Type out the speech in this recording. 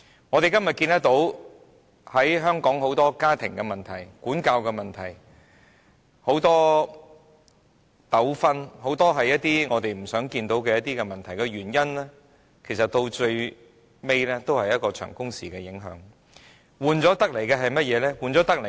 我們今天看到香港很多家庭問題、管教問題、很多糾紛，以及很多我們不想看到的問題，歸根究底也是長工時的影響，換來的是甚麼？